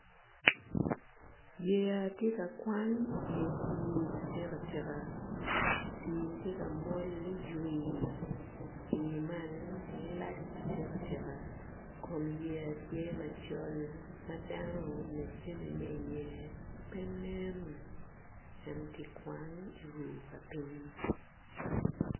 Yeya tye ka kwan i dye pii atikatika pii tye ka mol ni ywii pii man lac atika tika kom yeya tye macol ma dano nyo jami ma iye pe nen en tye ka kwan i ruu pa piny.